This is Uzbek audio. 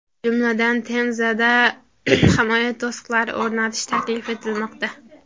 Jumladan, Temzada himoya to‘siqlari o‘rnatish taklif etilmoqda.